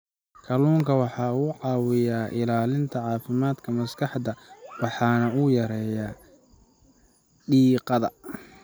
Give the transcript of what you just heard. Kalluunku waxa uu caawiyaa ilaalinta caafimaadka maskaxda waxana uu yareeyaa diiqada.